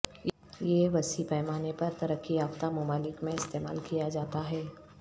یہ وسیع پیمانے پر ترقی یافتہ ممالک میں استعمال کیا جاتا ہے